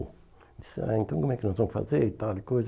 Ele disse, ah, então como é que nós vamos fazer e tal e coisa.